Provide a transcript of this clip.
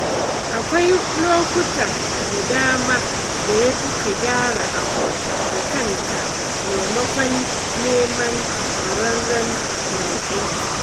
Akwai lokuta da dama da yafi ka gyara abu da kanka maimakon neman kwararren mai aiki